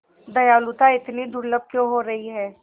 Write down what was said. दयालुता इतनी दुर्लभ क्यों हो रही है